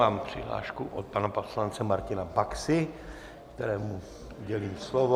Mám přihlášku od pana poslance Martina Baxy, kterému udělím slovo.